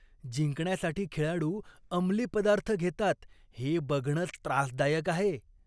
जिंकण्यासाठी खेळाडू अंमली पदार्थ घेतात हे बघणंच त्रासदायक आहे.